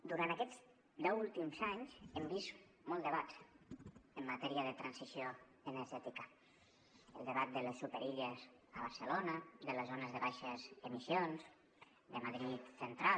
durant aquests deu últims anys hem vist molts debats en matèria de transició energètica el debat de les superilles a barcelona de les zones de baixes emissions de madrid central